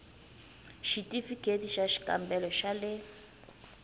xithifiketi xa xikambelo xa le